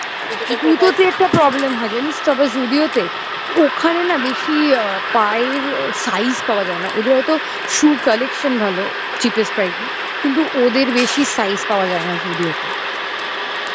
জুতোতে একটা problem হয় জানিস তবে Zudio তে। ওখানে না বেশি পায়ের size পাওয়া যায় না ওদের হয়তো shoe colection ভালো। cheaps price এ কিন্তু ওদের বেশি size পাওয়া যায় না Zudio তে